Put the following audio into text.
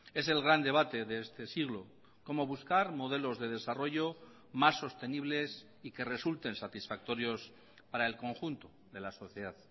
es el gran debate de este siglo cómo buscar modelos de desarrollo más sostenibles y que resulten satisfactorios para el conjunto de la sociedad